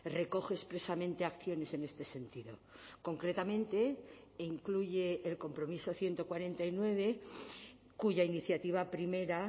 recoge expresamente acciones en este sentido concretamente incluye el compromiso ciento cuarenta y nueve cuya iniciativa primera